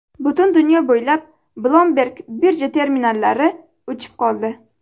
Butun dunyo bo‘ylab Bloomberg birja terminallari o‘chib qoldi.